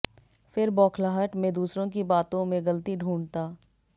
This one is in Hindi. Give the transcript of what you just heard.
फिर बौखलाहट में दूसरों की बातों में गलती ढूंढ़ता